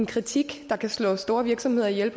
kritik der kan slå store virksomheder ihjel i